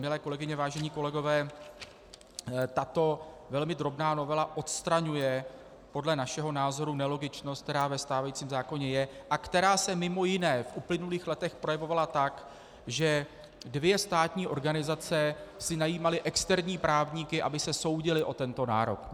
Milé kolegyně, vážení kolegové, tato velmi drobná novela odstraňuje podle našeho názoru nelogičnost, která ve stávajícím zákoně je a která se mimo jiné v uplynulých letech projevovala tak, že dvě státní organizace si najímaly externí právníky, aby se soudily o tento nárok.